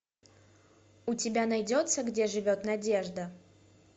у тебя найдется где живет надежда